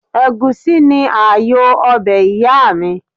Ègúsí ni ààyò ọbẹ̀ ìyáàmi